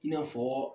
I n'a fɔ